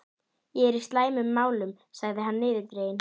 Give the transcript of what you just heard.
Ég er í slæmum málum sagði hann niðurdreginn.